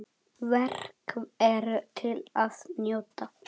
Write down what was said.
Verk eru til að njóta.